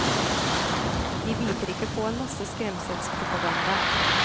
De biter ikke på en masse skremselspropaganda.